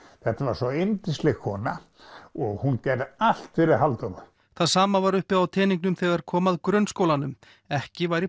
þetta var svo yndisleg kona og hún gerði allt fyrir Halldóru það sama var uppi á teningnum þegar kom að grunnskólanum ekki væri